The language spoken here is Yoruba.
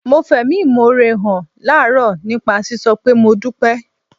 Mo fẹ̀mí ìmoore hàn láàárọ̀ nípa sísọ pé "Mo dúpẹ́"